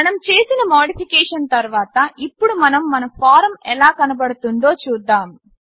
మనం చేసిన మాడిఫికేషన్ తర్వాత ఇప్పుడు మనం మన ఫారమ్ ఎలా కనపడుతుందో చూద్దాము